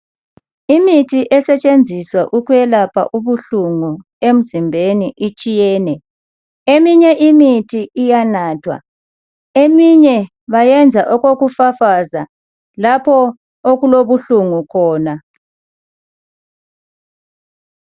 Imithi esetshenziswa ukwelapha ubuhlungu emzimbeni itshiyene eyinye iyanathwa eminye bayenza okokufafaza lapha okulobuhlungu khona